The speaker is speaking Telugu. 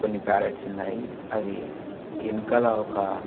కొన్ని ప్యారెట్స్ ఉన్నాయి అవి వెనకాల ఒక --